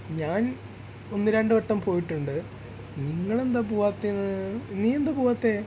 ഞാൻ ഒന്നു രണ്ടു വട്ടം പോയിട്ട് ഉണ്ട് നിങ്ങൾ എന്താ പോവാത്തെന്ന് നീ എന്താ പോവാത്തെ?